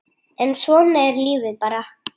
En svona er lífið bara.